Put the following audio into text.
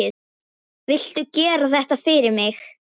Viltu gera þetta fyrir mig!